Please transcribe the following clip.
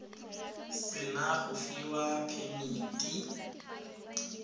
se na go fiwa phemiti